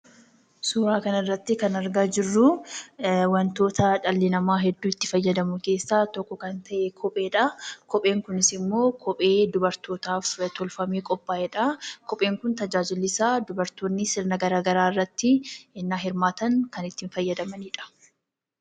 Suuraa kanarratti kan argaa jirru, wantoota dhalli nama hedduu itti fayyadamu keessa tokko kan ta'e, kopheedha. kopheen kunisimmo, kophee dubartootaaf tolfamee qopha'eedha. kopheen kun tajaajilli isa subartoonni sirna garaagaraa irratti innaa hirmaatan itti fayyadamanidha.